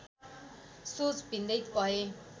सोच भिन्दै भए